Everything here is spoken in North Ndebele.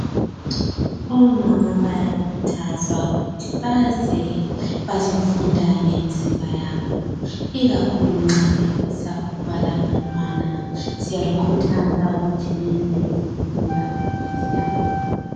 Omama bayakhuthazwa ukuthi baze bazofunda ngemizimba yabo ikakhulu nxa befisa ukuba labantwana. Siyalikhuthaza ukuthi lize lizofunda, siyabonga.